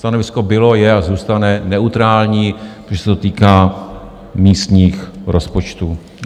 Stanovisko bylo, je a zůstane neutrální, protože se to týká místních rozpočtů.